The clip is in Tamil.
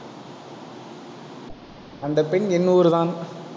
அந்தப் பெண் என் ஊர் தான்